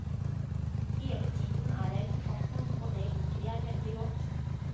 Hele tiden er jeg på farten, og det liker jeg veldig godt.